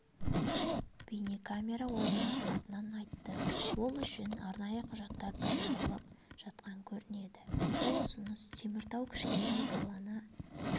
бейнекамера орнатылатынын айтты ол үшін арнайы құжаттар дайындалып жатқан көрінеді бұл ұсыныс теміртауда кішкентай баланы